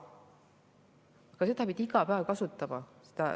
Aga seda ravimit pidi iga päev kasutama.